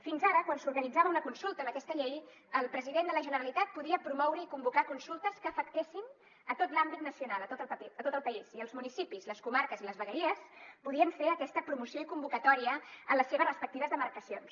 fins ara quan s’organitzava una consulta amb aquesta llei el president de la generalitat podia promoure i convocar consultes que afectessin tot l’àmbit nacional tot el país i els municipis les comarques i les vegueries podien fer aquesta promoció i convocatòria en les seves respectives demarcacions